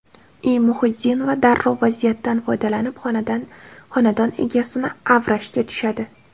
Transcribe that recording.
I. Muhiddinova darrov vaziyatdan foydalanib, xonadon egasini avrashga tushadi.